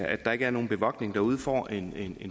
at der ikke er nogen bevogtning derude får en